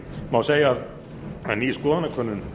má segja að ný skoðanakönnun